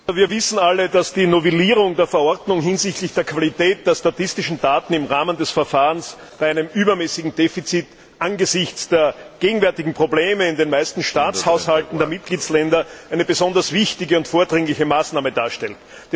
Herr Präsident! Wir wissen alle, dass die Novellierung der Verordnung hinsichtlich der Qualität der statistischen Daten im Rahmen des Verfahrens bei einem übermäßigen Defizit angesichts der gegenwärtigen Probleme in den meisten Staatshaushalten der Mitgliedstaaten eine besonders wichtige und vordringliche Maßnahme darstellt.